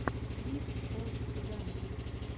клип о сигано